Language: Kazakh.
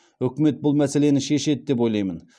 үкімет бұл мәселені шешеді деп ойлаймын